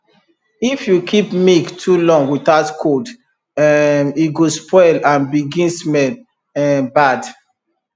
if you keep milk too long without cold um e go spoil and begin smell um bad